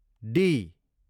D